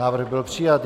Návrh byl přijat.